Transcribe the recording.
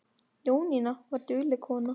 Jónína var dugleg kona.